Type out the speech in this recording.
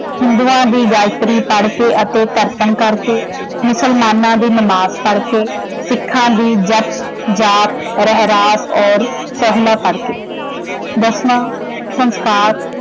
ਹਿੰਦੂਆਂ ਦੀ ਗਾਇਤਰੀ ਪੜ ਕੇ ਅਤੇ ਤਰਪਨ ਕਰਕੇ ਮੁਸਲਮਾਨਾਂ ਦੀ ਨਮਾਜ਼ ਪੜ ਕੇ ਸਿੱਖਾਂ ਦੀ ਜਪ, ਜਾਪ, ਰਹਿਰਾਸ ਔਰ ਸੋਹਿਲਾ ਪੜ ਕੇ। ਦਸਵਾਂ ਸੰਸਕਾਰ